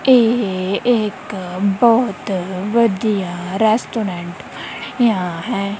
ਇਹ ਇੱਕ ਬਹੁਤ ਵਧੀਆ ਰੈਸਟੋਰੈਂਟ ਬਣਿਆ ਹੈ।